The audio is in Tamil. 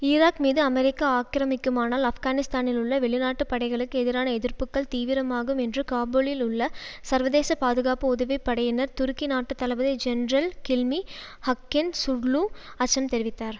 ஈராக் மீது அமெரிக்கா ஆக்கிரமிக்குமானால் ஆப்கானிஸ்தானிலுள்ள வெளிநாட்டுப் படைகளுக்கு எதிரான எதிர்ப்புக்கள் தீவிரமாகும் என்று காபூலில் உள்ள சர்வதேச பாதுகாப்பு உதவி படையினர் துருக்கி நாட்டு தளபதி ஜெனரல் கில்மி ஹக்கின் சுர்லூ அச்சம் தெரிவித்தார்